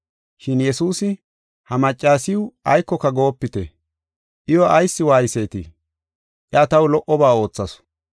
Shin Yesuusi “Ha maccasiw aykoka goopite; iyo ayis waaysetii? Iya taw lo77oba oothasu.